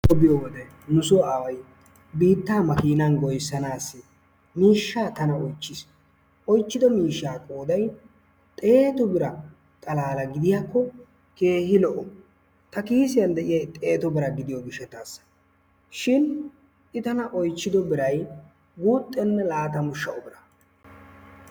Ta biyoo wode nu soo aaway biittaa maakinan goyyisanaassi miishsha tana oychchis. Oychchido miishshaa qooday xeetu bira xalaala gidiyaakko keehi lo"o. Ta kiisiyaan de'iyaay xeetu bira xaalla gidiyoo giishatassi shin i tana oychchido biiray guuxxena laatamu shaa"u bira.